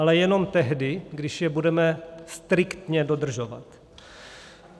Ale jenom tehdy, když je budeme striktně dodržovat.